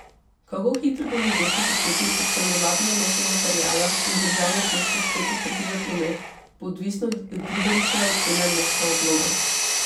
Kako hitro bo mogoče začeti odstranjevati nanose materiala in državno cesto spet odpreti za promet, bo odvisno od Ribaričeve ocene mesta odloma.